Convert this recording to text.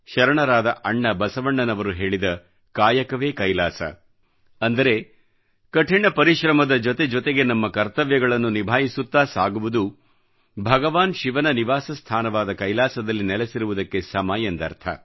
ಶರಣರಾದ ಅಣ್ಣ ಬಸವಣ್ಣನವರು ಹೇಳಿದ ಕಾಯಕವೇ ಕೈಲಾಸ ಅಂದರೆ ಕಠಿಣ ಪರಿಶ್ರಮದ ಜೊತೆ ಜೊತೆಗೆ ನಮ್ಮ ಕರ್ತವ್ಯಗಳನ್ನು ನಿಭಾಯಿಸುತ್ತಾ ಸಾಗುವುದು ಭಗವಾನ್ ಶಿವನ ನಿವಾಸ ಸ್ಥಾನವಾದ ಕೈಲಾಸದಲ್ಲಿ ನೆಲೆಸಿರುವುದಕ್ಕೆ ಸಮ ಎಂದರ್ಥ